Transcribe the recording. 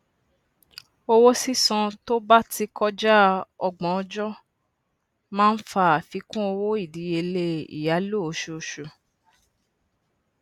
owó sísan to bá ti kọjá ọgbọn ọjọ máa ń fà àfikún owó ìdíyelé ìyálò oṣooṣù